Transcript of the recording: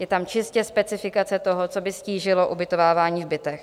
Je tam čistě specifikace toho, co by ztížilo ubytovávání v bytech.